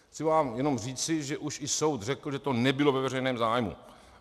Můžu vám jenom říci, že už i soud řekl, že to nebylo ve veřejném zájmu.